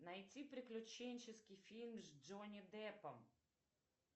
найти приключенческий фильм с джонни деппом